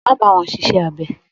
Má bá wọn ṣiṣẹ́ abẹ.